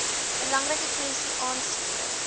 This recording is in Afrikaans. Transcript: belangrike kwessie aanspreek